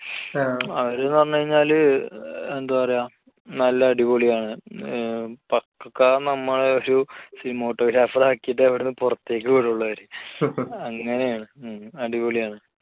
ങ്ഹാ. അവര് എന്ന് പറഞ്ഞു കഴിഞ്ഞാൽ എന്താ പറയുക നല്ല അടിപൊളി ആണ്. ഏഹ് പക്കാ നമ്മളെ ഒരു cinematographer ആക്കിയിട്ടേ അവിടെ നിന്ന് പുറത്തേക്ക് വിടുകയുള്ളൂ അവർ അങ്ങനെയാണ്, അടിപൊളിയാണ്.